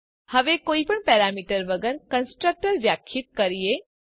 હવે કોઈ પણ પેરામીટર વગર કન્સ્ટ્રક્ટર વ્યાખ્યાયિત કરીએ